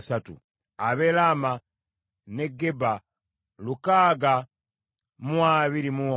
ab’e Laama n’e Geba lukaaga mu abiri mu omu (621),